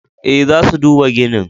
Eh, za su duba ginin.